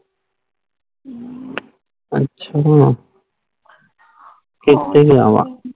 ਅੱਛਾ ਕਿਥੇ